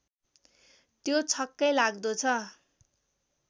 त्यो छक्कै लाग्दो छ